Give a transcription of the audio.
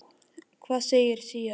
Hvað segir SÍA um það?